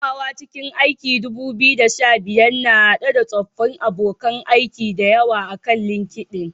Komawa cikin 2015, na haɗa da tsoffin abokan aiki da yawa akan LinkedIn.